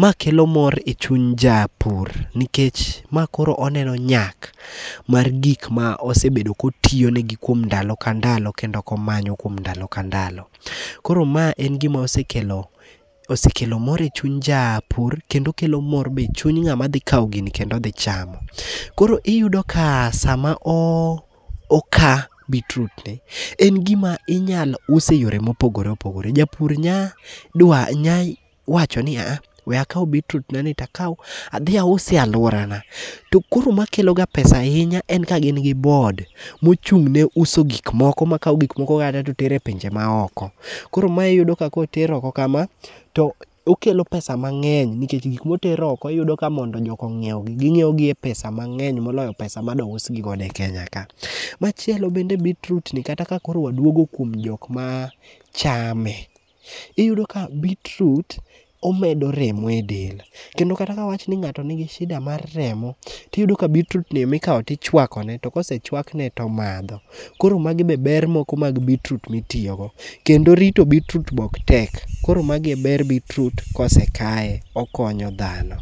Ma kelo mor e chuny japur nikech ma koro oneno nyak mar gik ma osebedo kotiyo negi kuom ndalo ka ndalo kendo komanyo kuom ndalo ka ndalo. Koro ma en gimosekelo mor e chuny japur kendo kelo mor be e chuny ng'ama dhi kawo gini kendo dhi chamo. Koro iyudo ka sama oka beetroot en gima inyalo us e yore ma opogore opogore. Japur nya wacho ni aa, we akaw beetroot na ni takaw. adhi ause e alworana, to koro makelo ga pesa ahinya en ka gin gi board mochung'ne uso gikmoko. Ma kawo gikmoko ka to tero e pinje maoko. Koro mae iyudo ka koter oko kama, to okelo pesa mang'eny nikech gik moter oko, iyudo ka mondo joka ong'iewgi, ging'iewogi e pesa mang'eny moloyo pesa ma do usgigo godo e Kenya ka. Machielo bende beetroot ni kata ka koro waduogo kuom jok machame, iyudo ka beetroot, omedo remo e del. Kendo kata ka wawach ni ng'ato nigi shida mar remo, tiyudo ka beetroot ni mikawo to ichwakone, to kosechwakne, tomadho. Koro magi be ber moko mag beetroot mitiyogo. Kendo rito beetroot be ok tek. Koro magi e ber beetroot kosekaye. Okonyo dhano.